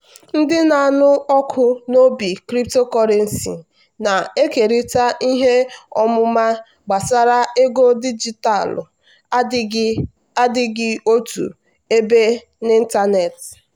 ndị na-anụ ọkụ n'obi cryptocurrency na-ekerịta ihe ọmụma gbasara ego dijitalụ adịghị adịghị otu ebe n'ịntanetị.